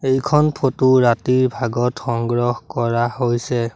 এইখন ফটো ৰাতিৰ ভাগত সংগ্ৰহ কৰা হৈছে।